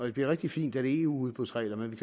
det bliver rigtig fint er det eu udbudsregler men vi